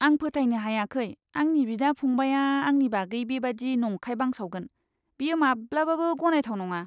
आं फोथायनो हायाखै आंनि बिदा फंबायआ आंनि बागै बेबादि नंखाय बांसावगोन। बेयो माब्लाबाबो गनायथाव नङा!